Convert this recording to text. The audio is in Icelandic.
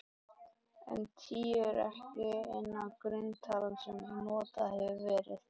En tíu er ekki eina grunntalan sem notuð hefur verið.